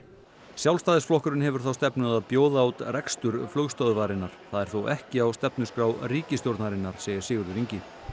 Sjálfstæðisflokkurinn hefur þá stefnu að bjóða út rekstur flugstöðvarinnar það er þó ekki á stefnuskrá ríkisstjórnarinnar segir Sigurður Ingi